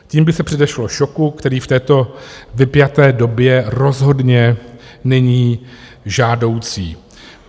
Tím by se předešlo šoku, který v této vypjaté době rozhodně není žádoucí.